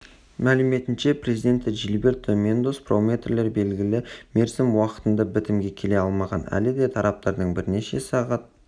мәліметінше президенті жилберто мендос промоутерлер белгілі мерзім уақытында бітімге келе алмаған әлі де тараптардың бірнеше сағат